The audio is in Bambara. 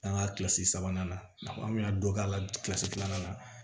An ka kilasi sabanan an kun y'a dɔ k'a ka kilasi filanan na